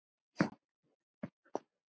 Út á Nesi?